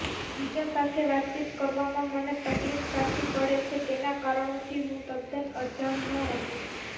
બીજા સાથે વાતચીત કરવામાં મને તકલીફ શાથી પડે છે તેનાં કારણોથી હું તદ્દન અજાણ નહોતો